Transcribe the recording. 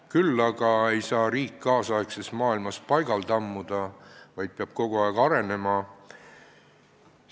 Küll aga ei saa riik nüüdisaegses maailmas paigal tammuda, vaid peab kogu aeg arenema.